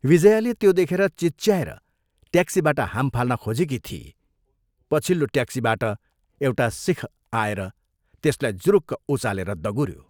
विजयाले त्यो देखेर चिच्याएर ट्याक्सीबाट हाम फाल्न खोजेकी थिई, पछिल्लो ट्याक्सीबाट एउटा सिख आएर त्यसलाई जुरुक्क उचालेर दगुऱ्यो।